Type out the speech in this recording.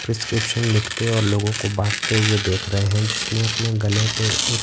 prescription लिखते और लोगों को बांटते हुए देख रहे हैं जिसने अपने गले पे एक--